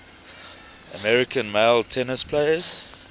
american male tennis players